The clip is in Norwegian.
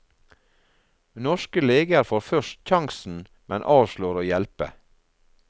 Norske leger får først sjansen, men avslår å hjelpe.